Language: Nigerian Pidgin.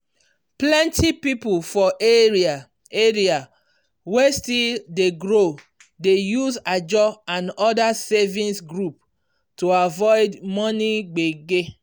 plenty people for area area wey still dey grow dey use ajo and other savings group to avoid money gbege.